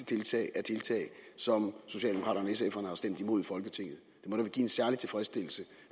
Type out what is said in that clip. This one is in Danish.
tiltag som socialdemokraterne og sf’erne har stemt imod i folketinget det må da give en særlig tilfredsstillelse